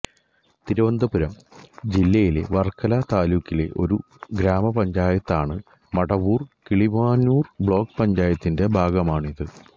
തിരുവനന്തപുരം ജില്ലയിലെ വർക്കല താലൂക്കിലെ ഒരു ഗ്രാമപഞ്ചായത്താണ് മടവൂർ കിളിമാനൂർ ബ്ലോക്ക് പഞ്ചായത്തിന്റെ ഭാഗമാണിത്